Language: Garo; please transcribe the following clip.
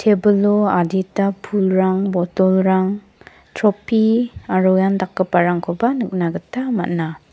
tebilo adita pulrang botolrang tropi aro iandakgiparangkoba nikna gita man·a.